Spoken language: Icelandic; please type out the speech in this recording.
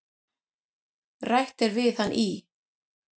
Rætt er við hann í